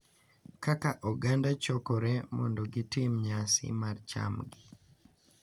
Kaka oganda chokore mondo gitim nyasi mar chamgi,